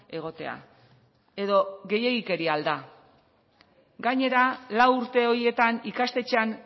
egotea edo gehiegikeria al da gainera lau urte horietan ikastetxean